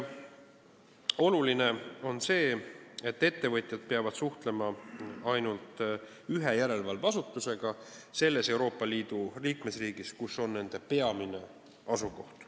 Oluline on see, et ettevõtjad peavad suhtlema ainult ühe järelevalveasutusega selles Euroopa Liidu liikmesriigis, kus on nende peamine asukoht.